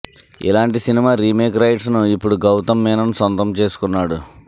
ఇలాంటి cinema remake rights ను ఇప్పుడు గౌతమ్ మీనన్ సొంతం చేసుకున్నాడు